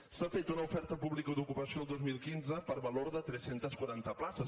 s’ha fet una oferta pública d’ocupació el dos mil quinze per valor de tres cents i quaranta places